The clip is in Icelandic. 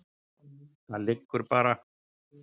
Það liggur bara.